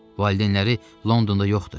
Valideynləri Londonda yoxdu.